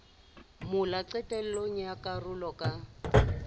mola qetellong ya karolo ka